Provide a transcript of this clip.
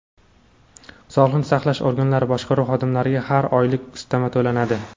Sog‘liqni saqlash organlari boshqaruv xodimlariga har oylik ustama to‘lanadi.